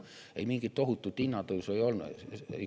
Ei, mingit tohutut hinnatõusu ei ole.